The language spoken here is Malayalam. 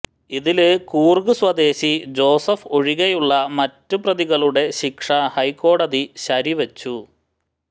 ഇതില് കൂര്ഗ് സ്വദേശി ജോസഫ് ഒഴികെയുള്ള മറ്റു പ്രതികളുടെ ശിക്ഷ ഹൈക്കോടതി ശരിവച്ചു